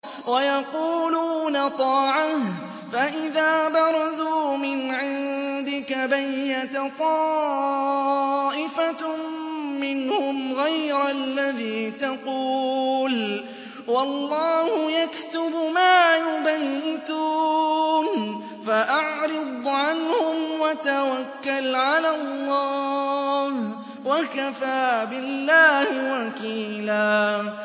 وَيَقُولُونَ طَاعَةٌ فَإِذَا بَرَزُوا مِنْ عِندِكَ بَيَّتَ طَائِفَةٌ مِّنْهُمْ غَيْرَ الَّذِي تَقُولُ ۖ وَاللَّهُ يَكْتُبُ مَا يُبَيِّتُونَ ۖ فَأَعْرِضْ عَنْهُمْ وَتَوَكَّلْ عَلَى اللَّهِ ۚ وَكَفَىٰ بِاللَّهِ وَكِيلًا